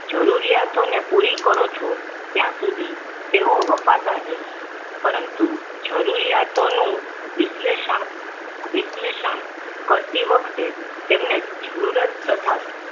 જરૂરિયાતોને પૂરી કરો છો ત્યાં સુધી તેવો વફાદાર રહેશે પરંતુ જરૂરિયાતોનું વિશ્લેષણ વિશ્લેષણ કરતી વખતે તેમને જરૂરત તથા